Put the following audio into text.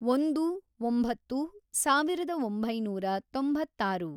ಒಂದು, ಒಂಬತ್ತು, ಸಾವಿರದ ಒಂಬೈನೂರ ತೊಂಬತ್ತಾರು